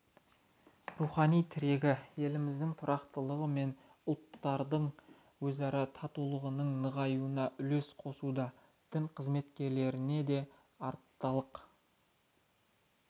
рухани тірегі еліміздің тұрақтылығы мен ұлттардың өзара татулығының нығаюына үлес қосуда дін қызметкерлеріне де артылар